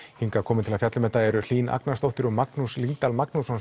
hingað komin til að fjalla um þetta verk eru þau Hlín Agnarsdóttir og Magnús Lyngdal Magnússon